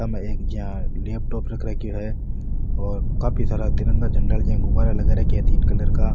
सामने एक जिया लेपटॉप रख राख्यो है और काफी सारा तिरंगा झंडा आला ज्या गुब्बारा लगा रख्या है तीन कलर का।